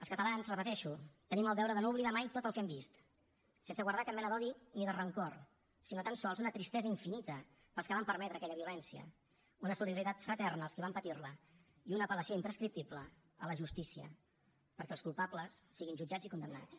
els catalans ho repeteixo tenim el deure de no oblidar mai tot el que hem vist sense guardar cap mena d’odi ni de rancor sinó tan sols una tristesa infinita pels que van permetre aquella violència una solidaritat fraterna amb els qui van patir la i una apel·lació imprescriptible a la justícia perquè els culpables siguin jutjats i condemnats